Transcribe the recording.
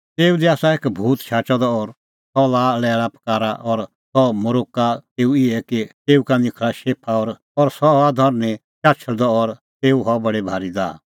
तेऊ दी आसा एक भूत शाचअ द और सह लाआ लैल़ापकारा और सह मरोक्का तेऊ इहै कि तेऊ का निखल़ा शेफा और सह हआ धरनीं चाछल़दअ और तेऊ हआ बडी भारी दाह